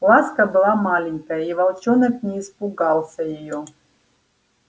ласка была маленькая и волчонок не испугался её